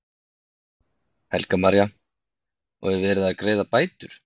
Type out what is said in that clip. Helga María: Og er verið að greiða bætur?